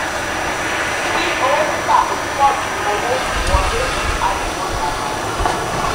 tí owó tita um pọ ju owó um wọlé um a le mọ ìdàgbàsókè.